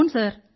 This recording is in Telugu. అవును సార్